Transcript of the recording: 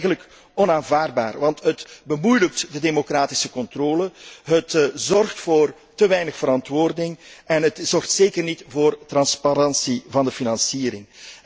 Dat is eigenlijk onaanvaardbaar, want het bemoeilijkt de democratische controle, leidt tot te weinig verantwoording en zorgt zeker niet voor transparantie van de financiering.